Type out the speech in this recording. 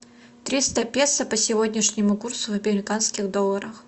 триста песо по сегодняшнему курсу в американских долларах